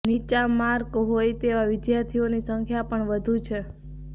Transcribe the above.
નીચા માર્ક હોય તેવા વિદ્યાર્થીઓની સંખ્યા પણ વધુ છે